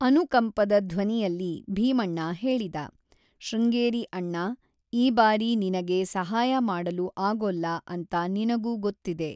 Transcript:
ಅನುಕಂಪದ ಧ್ವನಿಯಲ್ಲಿ ಭೀಮಣ್ಣ ಹೇಳಿದ, ಶೃಂಗೇರಿ ಅಣ್ಣಾ, ಈ ಬಾರಿ ನಿನಗೆ ಸಹಾಯ ಮಾಡಲು ಆಗೋಲ್ಲ ಅಂತ ನಿನಗೂ ಗೊತ್ತಿದೆ.